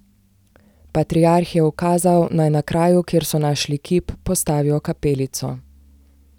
Patriarh je ukazal, naj na kraju, kjer so našli kip, postavijo kapelico.